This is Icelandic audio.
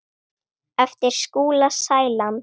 eftir Skúla Sæland.